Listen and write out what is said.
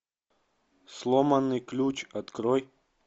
сломанный ключ открой